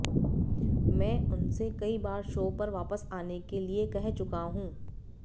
मैं उनसे कई बार शो पर वापस आने के लिए कह चुका हूं